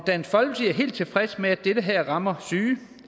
dansk folkeparti er helt tilfreds med at det her rammer syge